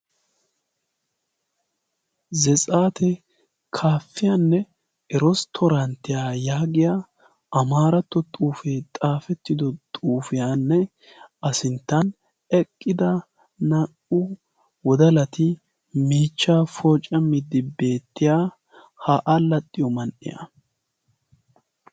Zetsaate kaappiyanne eresttaronttiya yaagiya amaaratto xuufee xaafettidi xuufiyanne A sinttan eqqida naa"u wodalati miichchaa poocamiiddi beettiya ha allaxxiyo man"iya.